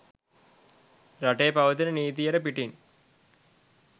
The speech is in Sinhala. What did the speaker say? රටේ පවතින නීතියට පිටින්